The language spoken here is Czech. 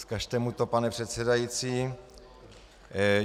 Vzkažte mu to, pane předsedající.